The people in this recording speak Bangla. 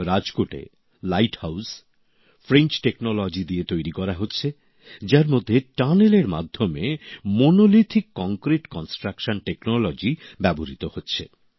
রাজকোটে লাইট হাইস ফরাসি প্রযুক্তির সাহায্যে তৈরি করা হচ্ছে যার মধ্যে সুড়ঙ্গের সাহায্যে মোনোলিথিক কংক্রিট নির্মাণ প্রযুক্তি ব্যবহৃত হচ্ছে